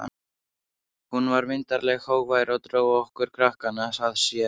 Hún var myndarleg, hógvær og dró okkur krakkana að sér.